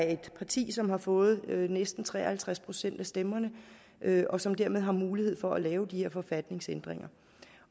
et parti som har fået næsten tre og halvtreds procent af stemmerne og som dermed har mulighed for at lave de her forfatningsændringer